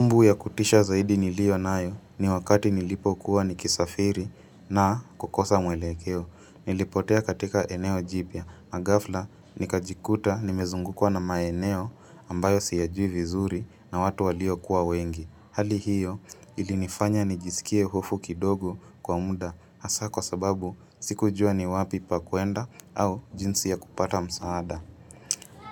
Kumbukumbu ya kutisha zaidi niliyo nayo ni wakati nilipokuwa ni kisafiri na kukosa mwelekeo. Nilipotea katika eneo jipya. Na ghafla nikajikuta nimezungukwa na maeneo ambayo siyajui vizuri na watu walio kuwa wengi. Hali hiyo ilinifanya nijisikie hofu kidogo kwa muda asa kwa sababu sikujua ni wapi pa kuenda au jinsi ya kupata msaada.